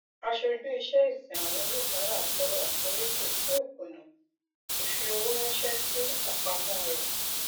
aṣojú ìṣẹìsin àwọn oníbàárà tọrọ àforíjì fún ìkùnà ìfi owó ránṣẹ sí àpamọ rẹ